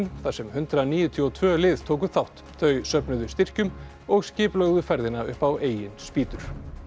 þar sem hundrað níutíu og tvö lið tóku þátt þau söfnuðu styrkjum og skipulögðu ferðina upp á eigin spýtur